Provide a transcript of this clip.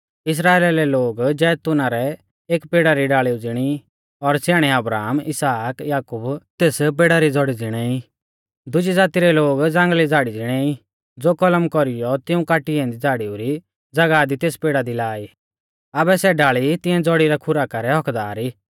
इस्राइला रै लोग जैतून रै एक पेड़ा री डाल़ीऊ ज़िणी ई और स्याणै अब्राहम इसहाक याकूब तेस पेड़ा री ज़ौड़ी ज़िणै ई दुज़ी ज़ाती रै लोग ज़ांगल़ी डाल़ी ज़िणै ई ज़ो कलम कौरीयौ तिऊं काटी ऐन्दी डाल़ीऊ री ज़ागाह दी तेस पेड़ा दी लाई आबै सै डाल़ी तिऐं ज़ौड़ी री खुराका रै हक्क्कदार ई